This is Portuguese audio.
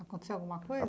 Aconteceu alguma coisa?